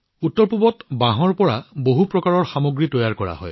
উত্তৰপূবত বাঁহৰ পৰা বহু প্ৰকাৰৰ সামগ্ৰী তৈয়াৰ কৰা হয়